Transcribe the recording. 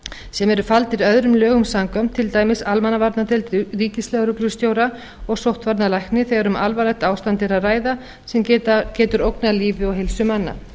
sem eru faldir öðrum lögum samkvæmt til dæmis almannavarnadeild ríkislögreglustjóra og sóttvarnalækni þegar um alvarlegt ástand er að ræða sem getur ógnað lífi og heilsu manna